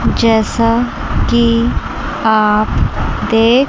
जैसा कि आप देख--